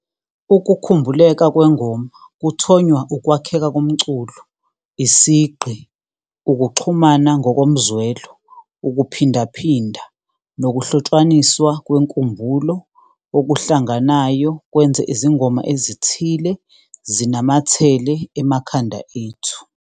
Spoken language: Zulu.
Ukukhumbuleka kwengoma kuthonywa ukwakheka komculo, isigqi, ukuxhumana ngokomzwelo, ukuphindaphinda nokuhlotshwaniswa kwenkumbulo okuhlanganayo kwenze izingoma ezithile zinamathele emakhanda ethu.